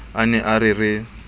a ne a re re